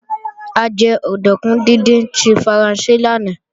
A jẹ òdùnkún díndín tí Faransé lánàá